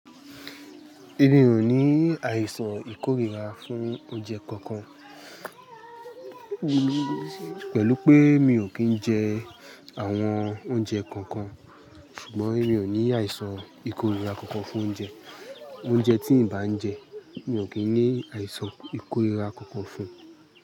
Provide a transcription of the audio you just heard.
Èmi ò ní àìsàn ìkórìíra fún oúnjẹ kankan. Pẹ̀lú pé mi ò kí ń jẹ àwọn oúnjẹ kankan, ṣùgbọ́n mi ò ní àìsàn ìkórìíra kankan fún oúnjẹ. Oúnjẹ tí n bá ń jẹ, mi ò kí ń ní àìsàn ìkórìíra kankan fún un.